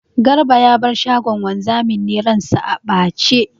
Garba ya bar shagon wanzamin ne ran sa a ɓace.